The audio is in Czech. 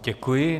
Děkuji.